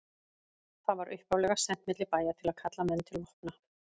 Það var upphaflega sent milli bæja til að kalla menn til vopna.